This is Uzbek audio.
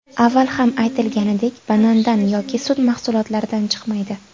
Avval ham aytilganidek banandan yoki sut mahsulotlaridan chiqmaydi.